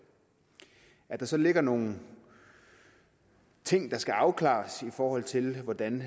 at der så ligger nogle ting der skal afklares i forhold til hvordan